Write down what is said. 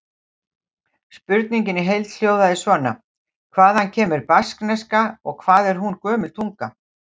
Spurningin í heild hljóðaði svona: Hvaðan kemur baskneska og hvað er hún gömul tunga?